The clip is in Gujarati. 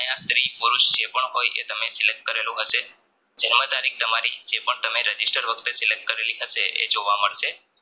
આયા સ્ત્રી પુરુસ જેપણ હોય એતમે Select કરેલું હશે જન્મ તારી જે પણ Registration વખતે Select કરેલી હશે એ જોવા મળશે